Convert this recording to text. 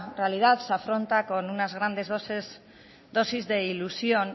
realidad se afronta con unas grandes dosis de ilusión